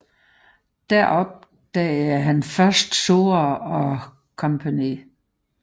Der opdagede han først Sora og Co